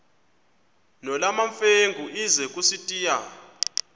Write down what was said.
nolwamamfengu ize kusitiya